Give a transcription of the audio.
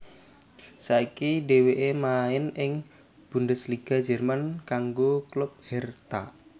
Saiki dhèwèké main ing Bundesliga Jerman kanggo klub Hertha